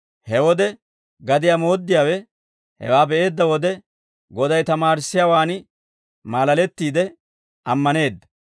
He wode gadiyaa mooddiyaawe hewaa be'eedda wode, Goday tamaarissiyaawaan maalalettiide ammaneedda.